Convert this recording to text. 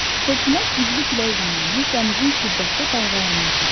Fırtına güclü külək zamanı dənizin şiddətli dalğalanmasıdır.